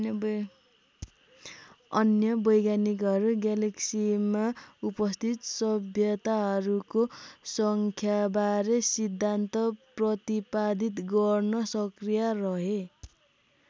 अन्य वैज्ञानिकहरू ग्यालेक्सीमा उपस्थित सभ्यताहरूको सङ्ख्याबारे सिद्धान्त प्रतिपादित गर्न सक्रिय रहे।